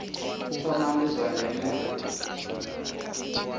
thoma ndi zwa ndeme uri